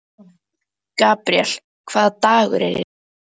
Gabríel, hvaða dagur er í dag?